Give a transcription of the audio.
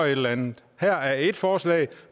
eller andet her er så ét forslag